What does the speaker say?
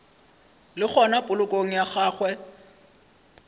le gona polokong ya gagwe